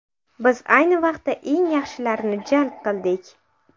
Biz ayni vaqtda eng yaxshilarini jalb qildik.